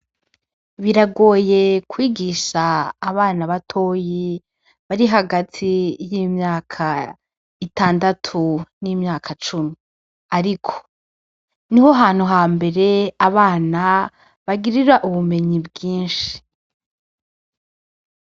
Biragoye kwigisha abana batoyi bari hagati y'imyaka itandatu n'imyaka cumi. Ariko , niho hantu hambere abana bagirira ubumenyi bwinshi .